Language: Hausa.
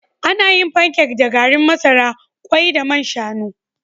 Ana yin pancakes da garin masara, kwai da man shanu